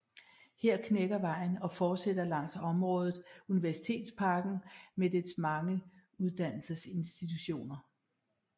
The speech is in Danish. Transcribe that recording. Her knækker vejen og fortsætter langs området Universitetsparken med dets mange uddannelsesinstitutioner